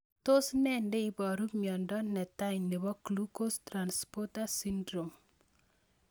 Tos nee neiparu miondop netai nepo Glucose transporter syndrome?